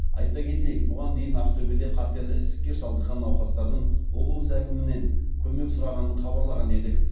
айта кетейік бұған дейін ақтөбеде қатерлі ісікке шалдыққан науқастардың облыс әкімінен көмек сұрағанын хабарлаған едік